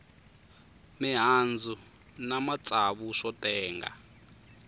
mihandzu na matsavu swo tenga